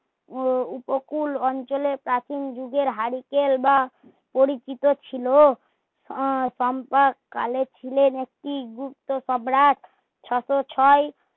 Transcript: উপকূল অঞ্চলের প্রাচীন যুগের হারিকেল বা পরিচিত ছিলো সম্পদ কালে ছিলেন একটি গুপ্ত সম্রাট ছয়শ ছয়